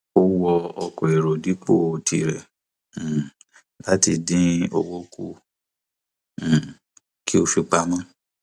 ó wọ ọkọ èrò dipo tirẹ um láti dín owó kù um kí ó fi pamọ